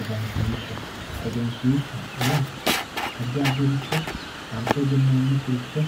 Egenshiishsha egenshiishshaho yaa addi addiricho anfe egenninoonnikkiricho